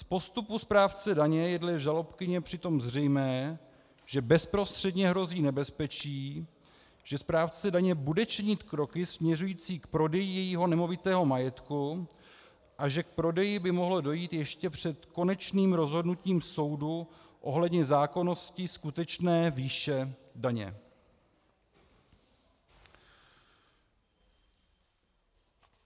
Z postupu správce daně je dle žalobkyně přitom zřejmé, že bezprostředně hrozí nebezpečí, že správce daně bude činit kroky směřující k prodeji jejího nemovitého majetku a že k prodeji by mohlo dojít ještě před konečným rozhodnutím soudu ohledně zákonnosti skutečné výše daně.